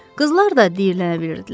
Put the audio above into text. Qızlar da diyirlənə bilirdilər.